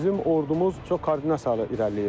Bizim ordumuz çox koordinasiyalı irəliləyirdi.